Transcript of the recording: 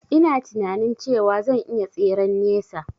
Ina tinanin cewa zan iya tseren nesa